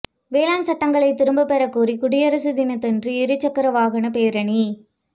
வேளாண் சட்டங்களை திரும்பப்பெறக் கோரி குடியரசு தினத்தன்று இருசக்கர வாகனப் பேரணி